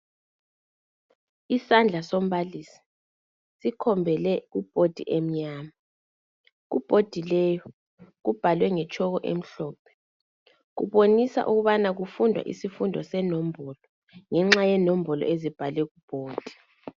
Isandla sombalisi sikhombele ibhodi emnyama. Kubhodi leyi kubhalwe ngetshoko emhlophe, kubonisa ukubana kufundwa isifundo senombolo, ngenxa yenombolo ezibhalwe ku bhodi.